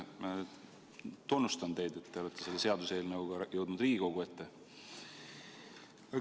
Kõigepealt tunnustan teid, et te olete selle seaduseelnõuga jõudnud Riigikogu ette.